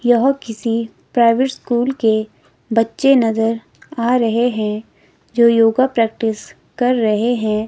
यह किसी private school के बच्चे नजर आ रहे हैं जो योगा प्रैक्टिस कर रहे हैं।